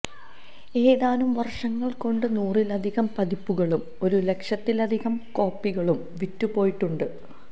ഏതാനും വര്ഷങ്ങള്കൊണ്ട് നൂറിലധികം പതിപ്പുകളും ഒരു ലക്ഷത്തിലധികം കോപ്പികളും വിറ്റുപോയിട്ടുണ്ട്